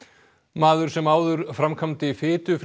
maður sem áður framkvæmdi